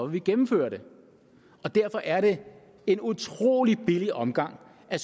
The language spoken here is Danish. vi gennemføre det og derfor er det en utrolig billig omgang at